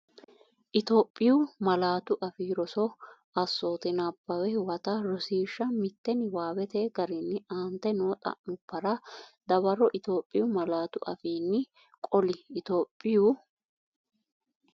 Itophiyu Malaatu Afii Roso Assoote Nabbawe Huwata Rosiishsha Mite Niwaawete garinni aante noo xa’mubbara dawaro Itophiyu malaatu afiin- qoli Itophiyu.